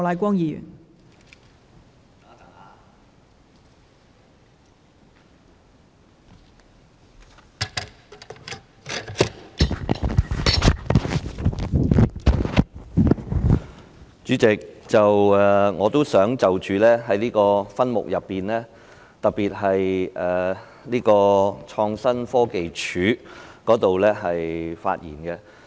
代理主席，我也想就着這數個分目，特別是創新科技署的範疇發言。